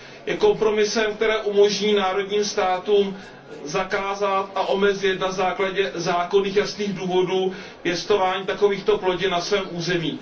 Je kompromisem, který umožní národním státům zakázat a omezit na základě zákonných, jasných důvodů pěstování takovýchto plodin na svém území.